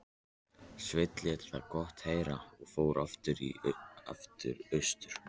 Sveinn lét það gott heita og fór aftur austur.